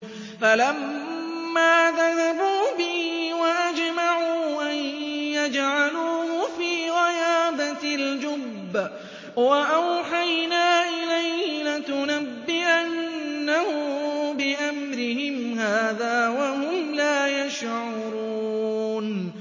فَلَمَّا ذَهَبُوا بِهِ وَأَجْمَعُوا أَن يَجْعَلُوهُ فِي غَيَابَتِ الْجُبِّ ۚ وَأَوْحَيْنَا إِلَيْهِ لَتُنَبِّئَنَّهُم بِأَمْرِهِمْ هَٰذَا وَهُمْ لَا يَشْعُرُونَ